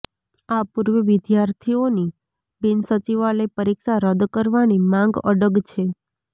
આ પૂર્વે વિદ્યાર્થીઓની બિનસચિવાલય પરીક્ષા રદ કરવાની માંગ અડગ છે